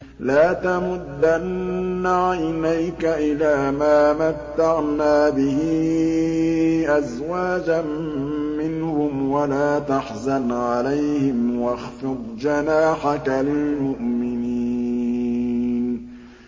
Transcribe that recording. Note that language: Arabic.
لَا تَمُدَّنَّ عَيْنَيْكَ إِلَىٰ مَا مَتَّعْنَا بِهِ أَزْوَاجًا مِّنْهُمْ وَلَا تَحْزَنْ عَلَيْهِمْ وَاخْفِضْ جَنَاحَكَ لِلْمُؤْمِنِينَ